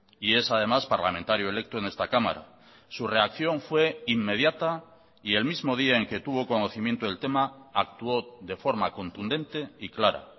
y es además parlamentario electo en esta cámara su reacción fue inmediata y el mismo día en que tuvo conocimiento del tema actuó de forma contundente y clara